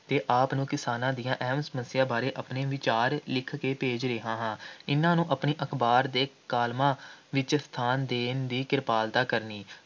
ਅਤੇ ਆਪ ਨੂੰ ਕਿਸਾਨਾਂ ਦੀਆਂ ਅਹਿਮ ਸਮੱਸਿਆਵਾਂ ਬਾਰੇ ਆਪਣੇ ਵਿਚਾਰ ਲਿਖ ਕੇ ਭੇਜ ਰਿਹਾ ਹਾਂ । ਇਨ੍ਹਾਂ ਨੂੰ ਆਪਣੀ ਅਖ਼ਬਾਰ ਦੇ ਕਾਲਮਾਂ ਵਿੱਚ ਸਥਾਨ ਦੇਣ ਦੀ ਕਿਰਪਾਲਤਾ ਕਰਨੀ।